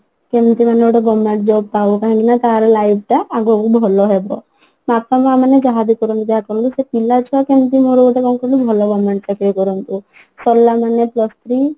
କେମିତି ମାନେ ଗୋଟେ government job ପାଉ କାହିଁକି ନା ତାର life ଟା ଆଗକୁ ଭଲ ହେବ ବାପା ମାଆ ମାନେ ଯାହାବି କରନ୍ତୁ ଯାହା କରନ୍ତୁ ସେ ପିଲା ଛୁଆ କେମିତି ମୋର ଗୋଟେ କଣ କହିଲୁ ଭଲ government ଚାକିରି କରନ୍ତୁ ସାରିଲା ମାନେ plus three